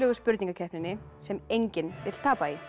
spurningakeppninni sem enginn vill tapa í